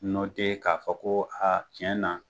k'a fɔ ko a tiɲɛ na